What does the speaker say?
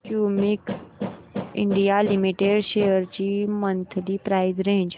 Cummins India limited shares ची monthly price range